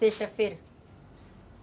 Sexta-feira.